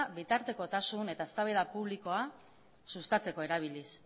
bitartekotasun eta eztabaida publikoa sustatzeko erabiliz